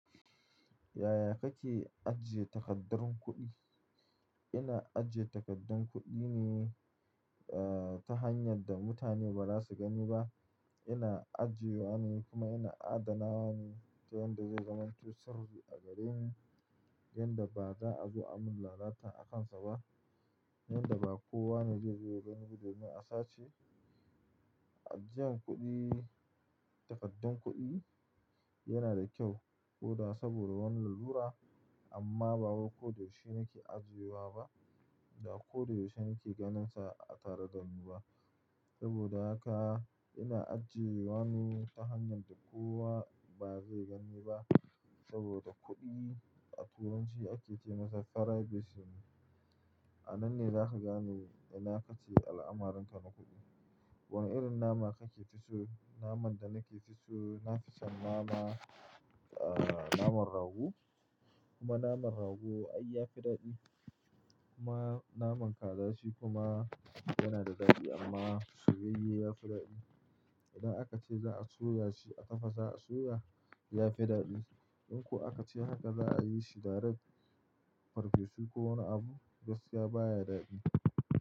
Yaya kake ajiye takaddar kuɗi? Ina ajiye takaddun kuɗi ne, eh, ta hanyar da mutane ba za su gani ba. Ina ajiyewa ne kuma ina adanawa ne ta yanda zai zamanto surru a gareni, yanda ba za a zo a mun lalata a kansa ba, yanda ba kowa ne zai zo ya gani ba domin a sace. Ajiyan kuɗi, takaddun kuɗi yana da kyau ko da saboda wani lalura, amma ba wai ko da yaushe nake ajiyewa ba da ko da yaushe nake ganinsa a tare da ni ba. Saboda haka ina ajiyewa ne ta hanyar da kowa ba zai gani ba saboda kuɗi a Turanci ake ce masa privacy. A nan ne zaka gane ina kake al'amarin ka na kuɗi. Wane irin nama kake fiso? Naman da nake fiso, nafi son nama, eh, naman rago. Kuma naman rago ai ya fi daɗi. Kuma naman kaza shi kuma yana da daɗi amma soyayye ya fi daɗi. Idan aka ce za a soya shi, a tafasa a soya, ya fi daɗi. In ko aka ce haka za a yi shi darect farfesu ko wani abu, gaskiya baya daɗi.